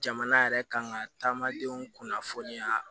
Jamana yɛrɛ kan ka taamadenw kunnafoniya